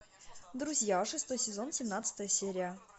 друзья шестой сезон семнадцатая серия